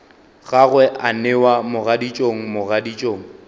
gagwe a newa mogaditšong mogaditšong